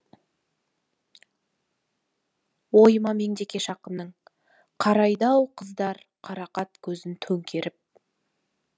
ойыма меңдекеш ақынның қарайды ау қыздар қарақат көзін төңкеріп